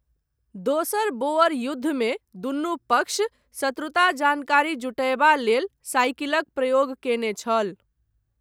दोसर बोअर युद्धमे दुनू पक्ष शत्रुता जानकारी जुटयबा लेल साइकिलक प्रयोग कयने छल।